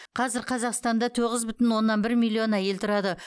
қазір қазақстанда тоғыз бүтін оннан бір миллион әйел тұрады